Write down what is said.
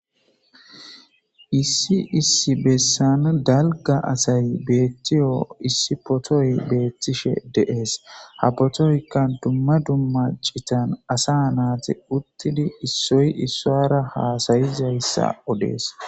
Issi issi bessan dalga asay beettiyo issi potoy beettishe deees. Ha potoykka dumma dumma citan asa naati uttidi issoy issoara haasayizayssa odees.